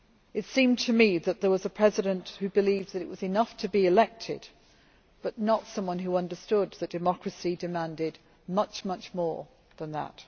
It seemed to me that there was a President who believed it was enough to be elected, but not someone who understood that democracy demanded much, much more than that.